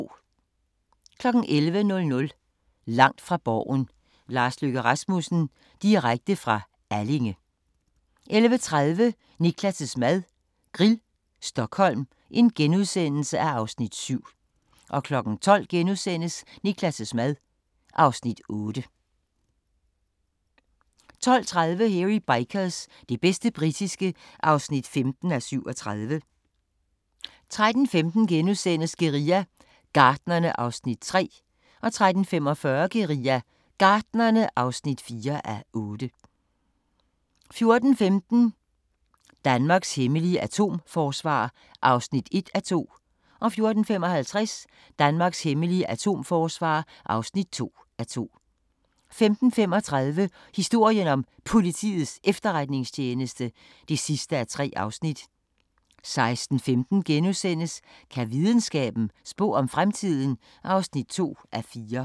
11:00: Langt fra Borgen: Lars Løkke Rasmussen- direkte fra Allinge 11:30: Niklas' mad - Grill, Stockholm (Afs. 7)* 12:00: Niklas' mad (Afs. 8)* 12:30: Hairy Bikers – det bedste britiske (15:37) 13:15: Guerilla Gartnerne (3:8)* 13:45: Guerilla Gartnerne (4:8) 14:15: Danmarks hemmelige atomforsvar (1:2) 14:55: Danmarks hemmelige atomforsvar (2:2) 15:35: Historien om Politiets Efterretningstjeneste (3:3) 16:15: Kan videnskaben spå om fremtiden? (2:4)*